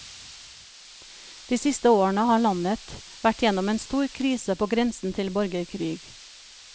De siste årene har landet vært gjennom en stor krise på grensen til borgerkrig.